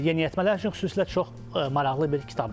Yeniyetmələr üçün xüsusilə çox maraqlı bir kitabdır.